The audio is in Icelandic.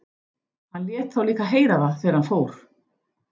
Hann lét þá líka heyra það þegar hann fór.